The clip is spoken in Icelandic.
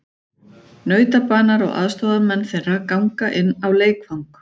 Nautabanar og aðstoðarmenn þeirra ganga inn á leikvang.